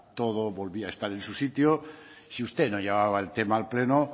todo volvía a estar en su sitio si usted no llevaba el tema al pleno